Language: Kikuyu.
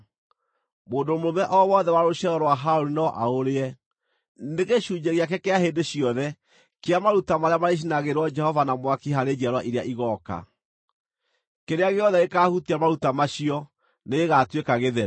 Mũndũ mũrũme o wothe wa rũciaro rwa Harũni no aũrĩe. Nĩ gĩcunjĩ gĩake kĩa hĩndĩ ciothe kĩa maruta marĩa marĩcinagĩrwo Jehova na mwaki harĩ njiarwa iria igooka. Kĩrĩa gĩothe gĩkaahutia maruta macio nĩgĩgatuĩka gĩtheru.’ ”